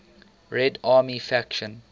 red army faction